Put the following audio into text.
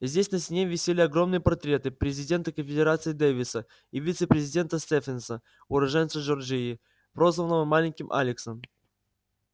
здесь на стене висели огромные портреты президента конфедерации дэвиса и вице-президента стефенса уроженца джорджии прозванного маленьким алексом